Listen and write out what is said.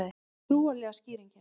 Trúarlega skýringin